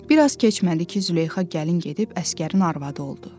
Bir az keçmədi ki, Züleyxa gəlin gedib əsgərin arvadı oldu.